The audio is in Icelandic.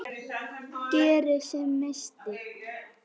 Geri sem minnst.